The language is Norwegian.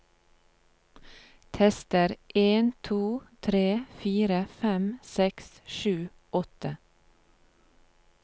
Tester en to tre fire fem seks sju åtte